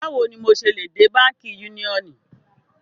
Báwò ní mọ ṣé lè dẹ̀ Bankí Yúniọ́nì?